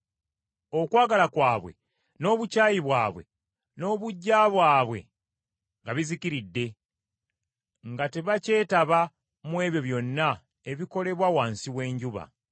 Okwagala kwabwe, n’obukyayi bwabwe, n’obuggya bwabwe nga bizikiridde; nga tebakyetaba mu ebyo byonna ebikolebwa wansi w’enjuba.